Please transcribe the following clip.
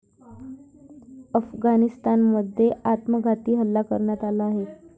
अफगाणिस्तानमध्ये आत्मघाती हल्ला करण्यात आला आहे.